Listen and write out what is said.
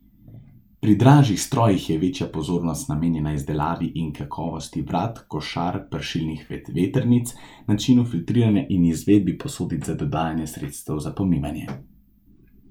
Pri dražjih strojih je večja pozornost namenjena izdelavi in kakovosti vrat, košar, pršilnih vetrnic, načinu filtriranja in izvedbi posodic za dodajanje sredstev za pomivanje.